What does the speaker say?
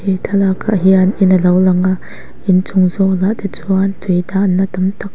he thlalak ah hian in alo lang a in chung zawk ah te chuan tui dahna tam tak--